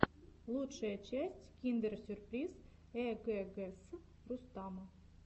лучшая часть киндер сюрприз эггс рустама